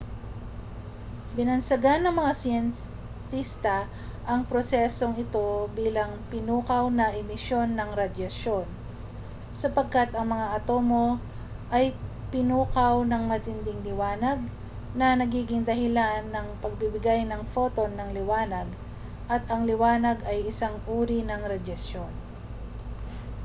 binansagan ng mga siyentista ang prosesong ito bilang pinukaw na emisyon ng radyasyon sapagkat ang mga atomo ay pinukaw ng matinding liwanag na nagiging dahilan ng pagbibigay ng photon ng liwanag at ang liwanag ay isang uri ng radyasyon